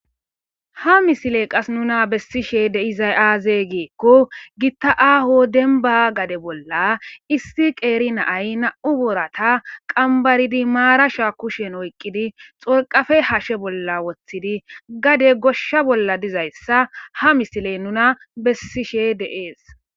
ha misile qas nuna bessishe deizay aaze giikko gitta aaho denba gade bolla issi qeeri naay na7u boorata qambaridi maara sha kushen oyqqidi xorqafe hashe bolla woththidi gade goshsha bolla dizayssa ha misile nuna bessishe deees